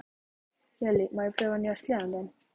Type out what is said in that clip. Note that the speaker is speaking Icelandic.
Lilla, má ég prófa nýja sleðann þinn?